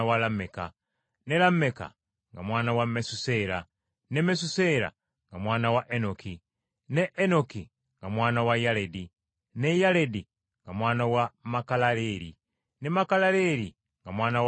ne Lameka nga mwana wa Mesuseera, ne Mesuseera nga mwana wa Enoki, ne Enoki nga mwana wa Yaledi, ne Yaledi nga mwana wa Makalaleri, ne Makalaleri nga mwana wa Kayinaani,